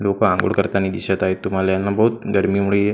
लोक आंघोळ करताना दिसत आहेत तुम्हाला यांना बहुत गर्मीमुळे --